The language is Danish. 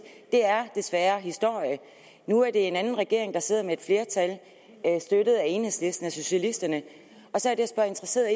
det er desværre historie nu er der en anden regering der sidder med et flertal støttet af enhedslisten og socialisterne og så er det jeg interesseret